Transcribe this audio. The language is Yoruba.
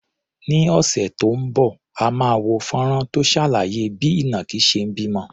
Ní ọ̀sẹ̀ tó ń bọ̀, a máa wo fọ́nrán tó ṣàlàyé bí ìnàkí ṣe ń bímọ.